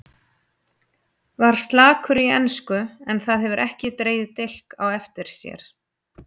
Mér líður ekki eins og afa